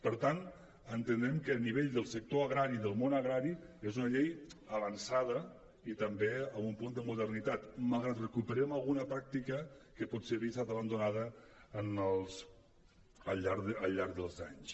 per tant entenem que a nivell del sector agrari del món agrari és una llei avançada i també amb un punt de modernitat malgrat que recuperem alguna pràctica que potser havia estat abandonada al llarg dels anys